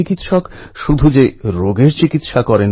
নূতন কিছু শিখুন